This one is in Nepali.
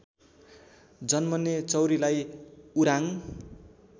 जन्मने चौँरीलाई उराङ